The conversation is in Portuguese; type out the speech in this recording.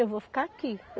Eu vou ficar aqui.